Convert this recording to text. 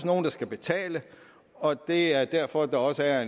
nogen der skal betale og det er derfor at der også er